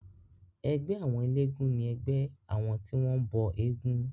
Ẹgbẹ́ àwọn elégún ni ẹgbẹ́ àwọn tí wọ́n bọ éégún.